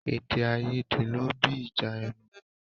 Èdè àìyédè ló bí ìjà ẹnu.